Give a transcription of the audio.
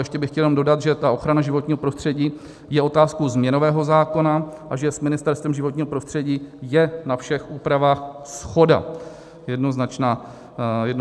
Ještě bych chtěl jenom dodat, že ta ochrana životního prostředí je otázkou změnového zákona a že s Ministerstvem životního prostředí je na všech úpravách shoda, jednoznačná shoda.